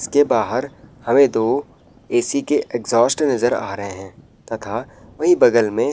इसके बाहर हमे दो ऐ.सी. के इग्ज़ॉस्ट नजर आ रहे हैं तथा वहीं बगल में --